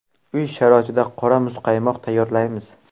Uy sharoitida qora muzqaymoq tayyorlaymiz.